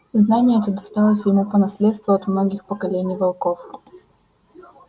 знание это досталось ему по наследству от многих поколений волков